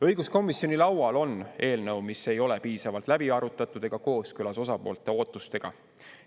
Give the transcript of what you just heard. Õiguskomisjoni laual on eelnõu, mis ei ole piisavalt läbi arutatud ega kooskõlas osapoolte ootustega.